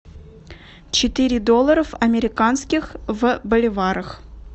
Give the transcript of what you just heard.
четыре доллара американских в боливарах